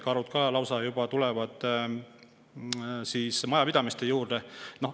Karud tulevad juba lausa majapidamiste juurde.